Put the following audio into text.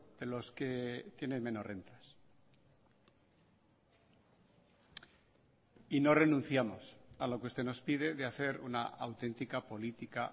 de los que tienen menos rentas y no renunciamos a lo que usted nos pide de hacer una auténtica política